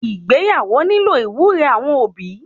Ìgbéyàwó nílò iwúre awọn obi